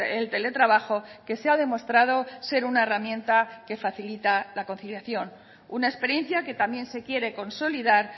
el teletrabajo que se ha demostrado ser una herramienta que facilita la conciliación una experiencia que también se quiere consolidar